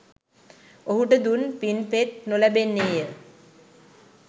ඔහුට දුන් පින් පෙත් නොලැබෙන්නේ ය.